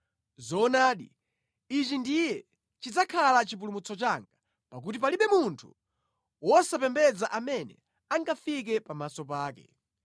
Zoonadi, ichi ndiye chidzakhala chipulumutso changa pakuti palibe munthu wosapembedza amene angafike pamaso pake!